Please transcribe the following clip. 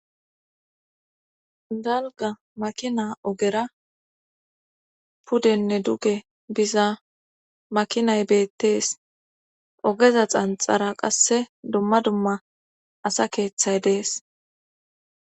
Dalga makina ogera pudenne duge biza makinay beettees ogeza xanxara qasse dumma dumma asa keeththay dees.